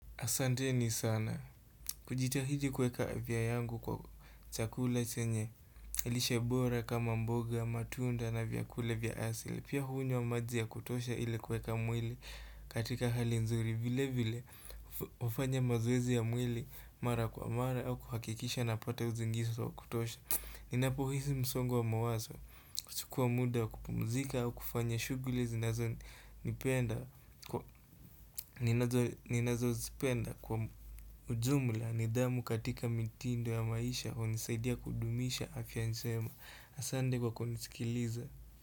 Asanteni sana, kujitahidi kuweka afya yangu kwa chakula chenye, lishe bora kama mboga, matunda na vyakula vya asili. Pia hunywa maji ya kutosha ile kuweka mwili katika hali nzuri vile vile, hufanya mazoezi ya mwili mara kwa mara au kuhakikisha napata usingizi kutosha. Ninapo hisi msongo wa mawazo kuchukua muda kupumzika au kufanya shughuli zinazo nipenda ninazo zipenda kwa ujumla nidhamu katika mitindo ya maisha hunisaidia kudumisha afya njema Asante kwa kunisikiliza.